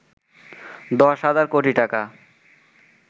১০ হাজার কোটি টাকা